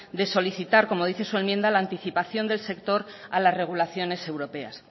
de solicitar como dice su enmienda la anticipación del sector a las regulaciones europeas